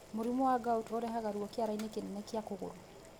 Mũrimũ wa gout ũrehaga ruo kĩarainĩ kĩnene kĩa magũrũ.